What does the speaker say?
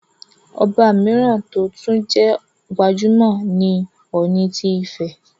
Ọba mìíràn tó tún jẹ́ gbajúmọ̀ ni Ọọ̀ni ti Ifẹ̀,